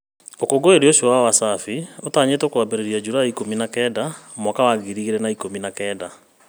Ũkũngũĩri ũcio wa Wasafi ũtanyĩtwo kwambĩrĩria julaĩ ikũmi na kenda mwaka wa ngiri igĩrĩ na ikũmi na kenda